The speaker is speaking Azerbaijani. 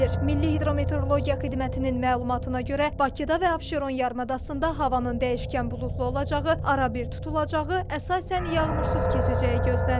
Milli hidrometeorologiya xidmətinin məlumatına görə, Bakıda və Abşeron yarımadasında havanın dəyişkən buludlu olacağı, arabir tutulacağı, əsasən yağmursuz keçəcəyi gözlənilir.